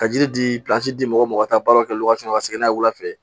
Ka jiri di di mɔgɔ ma ka taa baara kɛ ka segin n'a ye wula fɛ